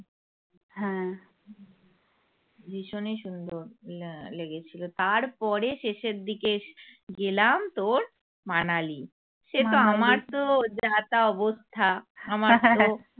ভীষনই সুন্দর লেগেছিল তার আহ পরে শেষের দিকে এসে গেলাম তোর মানালি সে তো আমার তো যা তা অবস্থা আমার তো